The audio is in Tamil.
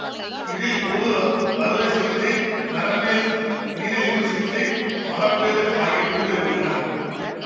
இதில் பொது அறுவை சிகிச்சை நரம்பியல் நீரிழிவு சிகிச்சை மகப்பேறு ஆகிய பிரிவுகள் உள்ளன